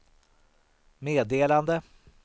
meddelande